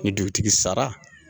Ni dugutigi sara